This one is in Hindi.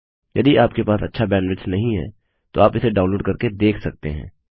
यदि आपके पास अच्छा बैंडविड्थ नहीं है तो आप इसे डाउनलोड करके देख सकते हैं